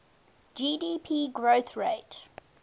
gdp growth rate